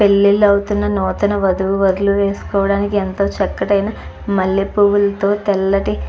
పెళ్లిళ్లు అవుతున్న నూతన వధువు వరులు వేసుకోడానికి ఎంతో చక్కటైన మల్లెపూలతో తెల్లటి --